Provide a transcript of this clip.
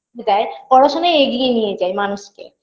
দেয়পড়াশোনাই এগিয়ে নিয়ে যায় মানুষকে